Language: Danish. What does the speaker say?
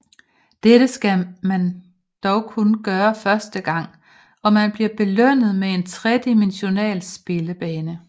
Dette skal dog kun gøres første gang og man bliver belønnet med en tredimensional spillebane